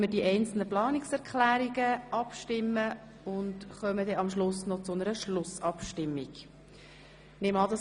Anschliessend stimmen wir über die Planungserklärungen einzeln ab, und zuletzt nehmen wir die Schlussabstimmung vor.